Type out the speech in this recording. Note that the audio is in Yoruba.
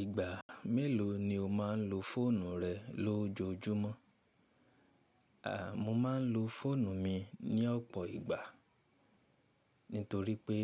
Ìgbà mélòó ni o máa ń lo fóònù rẹ lójoojúmọ́? A, mo máa ń lo fóònù mi ní ọ̀pọ̀ ìgbà, nítorí pé